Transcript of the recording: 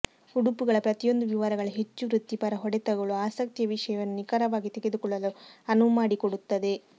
ಉಡುಪುಗಳ ಪ್ರತಿಯೊಂದು ವಿವರಗಳ ಹೆಚ್ಚು ವೃತ್ತಿಪರ ಹೊಡೆತಗಳು ಆಸಕ್ತಿಯ ವಿಷಯವನ್ನು ನಿಖರವಾಗಿ ತೆಗೆದುಕೊಳ್ಳಲು ಅನುವು ಮಾಡಿಕೊಡುತ್ತದೆ